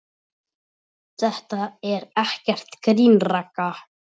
Þetta er ekkert grín, Ragga.